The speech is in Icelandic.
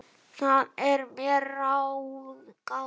Það er mér ráðgáta